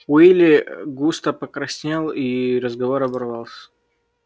уилли густо покраснел и разговор оборвался